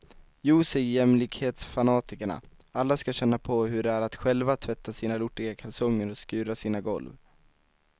Jo, säger jämlikhetsfanatikerna, alla skall känna på hur det är att själva tvätta sina lortiga kalsonger och skura sina golv.